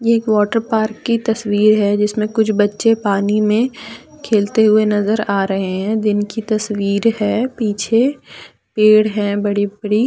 एक water park की तस्वीर है जिसमें कुछ बच्चे पानी में खेलते हुए नजर आ रहे हैं दिन की तस्वीर है पीछे पेड़ है बड़े बड़े।